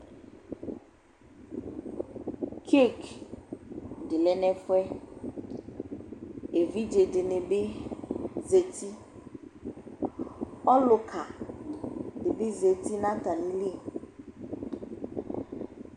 Tsetsɩdɩ lɛ n'ɛfʋɛ , evidzedɩnɩ bɩ zati Ɔlʋkadɩ bɩ zati n'atamili